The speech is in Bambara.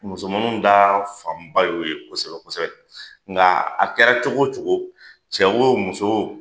Musomaninw ta fanba y'o ye kosɛbɛ kosɛbɛ. Nga a kɛra cogo cogo, cɛ wo muso wo